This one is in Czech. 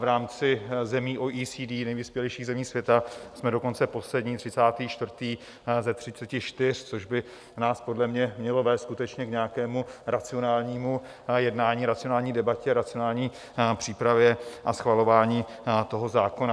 V rámci zemí OECD, nejvyspělejších zemí světa, jsme dokonce poslední, 34. ze 34, což by nás podle mě mělo vést skutečně k nějakému racionálnímu jednání, racionální debatě, racionální přípravě a schvalování toho zákona.